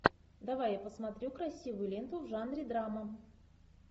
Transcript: давай я посмотрю красивую ленту в жанре драма